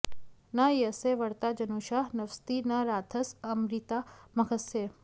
न यस्य वर्ता जनुषा न्वस्ति न राधस आमरीता मघस्य